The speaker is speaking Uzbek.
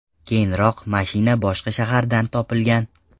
Keyinroq mashina boshqa shahardan topilgan.